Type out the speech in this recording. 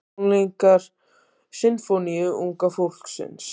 Tónleikar Sinfóníu unga fólksins